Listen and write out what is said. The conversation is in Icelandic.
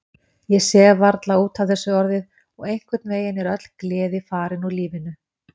Ég sef varla út af þessu orðið og einhvernveginn er öll gleði farin úr lífinu.